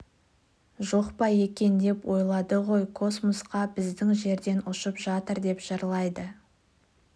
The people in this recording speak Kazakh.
жоқ па екен деп ойлады ғой космосқа біздің жерден ұшып жатыр деп жырлайды